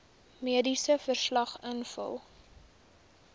mediese verslag invul